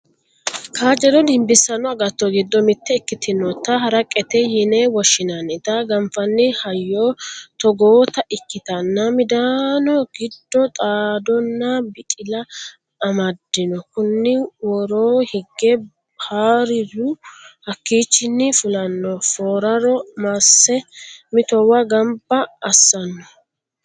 kaajjado dimbissanno agatto giddo mitte ikkitinota haraqete yine woshshinannita ganfanni hayyo togoota ikkitanna, midaano giddo xaddonna biqila amaddano kuni woro hige hariru hakkiichinni fulanno fooraro masse mittowo gamba assanno.